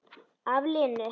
Af Lenu.